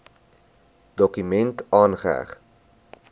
dokument aangeheg